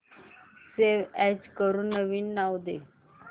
save as करून नवीन नाव दे